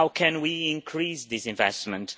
How can we increase this investment?